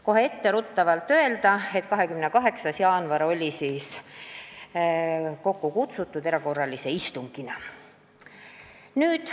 Kohe etteruttavalt võin öelda, et 28. jaanuaril oli kokku kutsutud erakorraline istung.